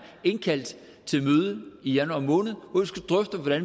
indkaldt til møde i januar måned hvor